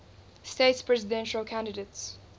states presidential candidates